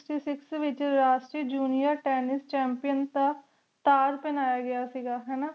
juniar tensess ਦਾ ਇਜਾਜ਼ ਪਹਨਾਯਾ ਗਯਾ ਸੇ ਗਾ